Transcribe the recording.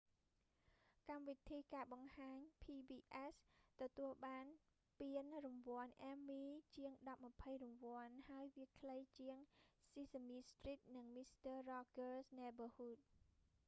កម្មវិធីការបង្ហាញ pbs ទទួលបានពានរង្វាន់ emmy ជាងដប់ម្ភៃរង្វាន់ ហើយវាខ្លីជាង sesame street និង mister rogers' neighborhood